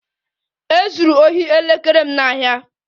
E zuru ohi elekere m n'ahịa